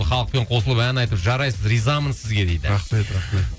халықпен қосылып ән айтып жарайсыз ризамын сізге дейді рахмет рахмет